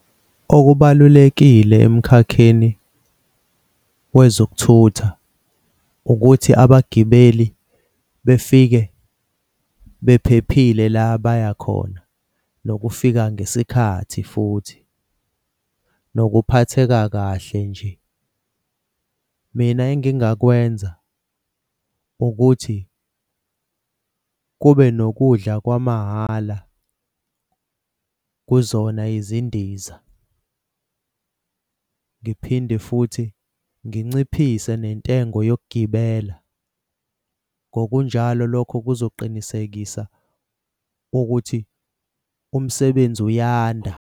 Okubalulekile emkhakheni wezokuthutha ukuthi abagibeli befike bephephile la abaya khona nokufika ngesikhathi futhi nokuphatheka kahle nje. Mina engingakwenza ukuthi kube nokudla kwamahhala kuzona izindiza ngiphinde futhi nginciphise nentengo yokugibela ngokunjalo. Lokho kuzoqinisekisa ukuthi umsebenzi uyanda.